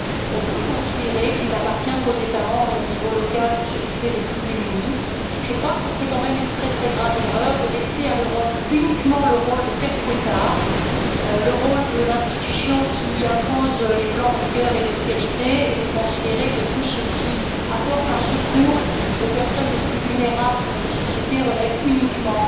On peut considérer qu'il n'appartient qu'aux États membres et au niveau local de s'occuper des plus démunis. Cependant, je crois que ce serait tout de même une très grave erreur de laisser à l'Europe uniquement le rôle de père Fouettard, le rôle de l'institution qui impose les plans de rigueur et d'austérité, et de considérer que tout ce qui apporte un secours aux personnes les plus vulnérables de notre société relève uniquement